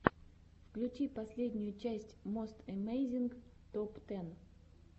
включи последнюю часть мост эмейзинг топ тэн